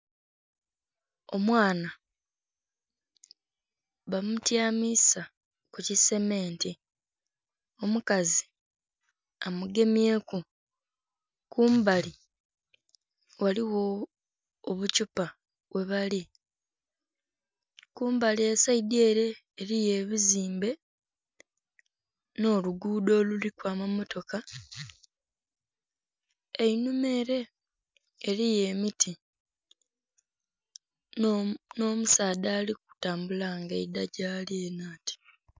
Omwana bamutyamisa kukisementi omukazi amugemyeku kumbali ghaliwo obukyupa ghebali kumbali esaidhi ere eliyo ebizimbe n'oluguudo nga luliku amamotoka einhuma ere eliyo emiti n' omusasdha ali kutambula nga ayidha gyaali eno ati.